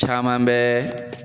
Caman bɛ